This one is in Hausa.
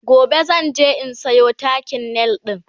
gobe zan je in Sayo takin nail ɗin